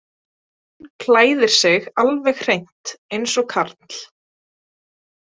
Hún klæðir sig alveg hreint eins og karl.